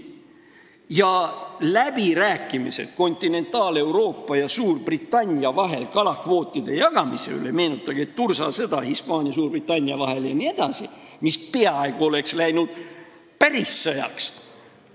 Ja mis puudutab läbirääkimisi Kontinentaal-Euroopa ja Suurbritannia vahel kalakvootide jagamise üle, siis meenutage tursasõda Hispaania ja Suurbritannia vahel jne, mis peaaegu oleks läinud päris sõjaks.